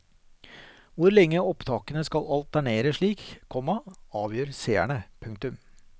Hvor lenge opptakene skal alternere slik, komma avgjør seerne. punktum